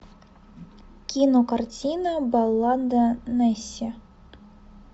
кинокартина баллада несси